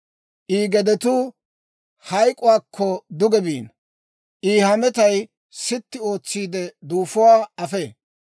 I gedetuu hayk'k'uwaakko duge biino; I hametay sitti ootsiide, duufuwaa afee.